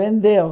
Vendeu.